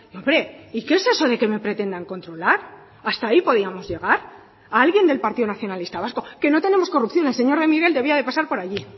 hombre y que es eso de que me pretendan controlar hasta ahí podíamos llegar a alguien del partido nacionalista vasco que no tenemos corrupción el señor de miguel debía de pasar por allí